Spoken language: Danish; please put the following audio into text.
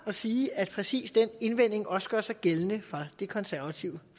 og sige at præcis den indvending også gør sig gældende for det konservative